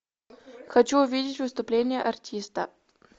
хочу увидеть выступление артиста